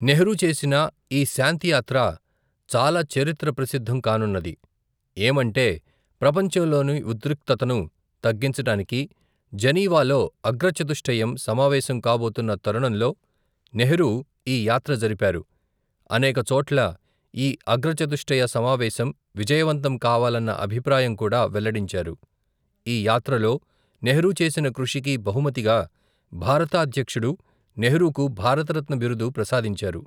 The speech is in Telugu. నెహ్రూ చేసిన, ఈ శాంతి యాత్ర, చాలా చరిత్ర ప్రసిద్ధం కానున్నది, ఏమంటే, ప్రపంచంలోని, ఉద్రిక్తతను, తగ్గించటానికి, జనీవాలో, అగ్రచతుష్టయం సమావేశం కాబోతున్న తరుణంలో, నెహ్రూ, ఈయాత్ర జరిపారు, అనేకచోట్ల, ఈ అగ్రచతుష్టయ సమావేశం, విజయవంతం కావాలన్న, అభిప్రాయం కూడా వెల్లడించారు, ఈ యాత్రలో, నెహ్రూచేసిన కృషికి, బహుమతిగా, భారతాధ్యక్షుడు, నెహ్రూకు, భారతరత్న, బిరుదు ప్రసాదించారు.